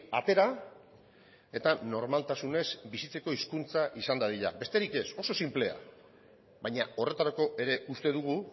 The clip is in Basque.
atera eta normaltasunez bizitzeko hizkuntza izan dadila besterik ez oso sinplea baina horretarako ere uste dugu